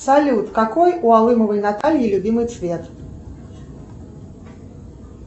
салют какой у алымовой натальи любимый цвет